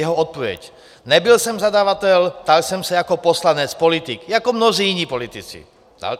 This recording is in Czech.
Jeho odpověď: "Nebyl jsem zadavatel, ptal jsem se jako poslanec, politik, jako mnozí jiní politici."